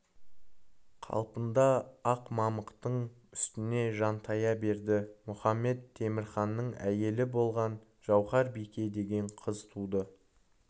қалпында ақ мамықтың үстіне жантая берді мұхамед-темірханның әйелі болған жауһар-бике деген қыз туды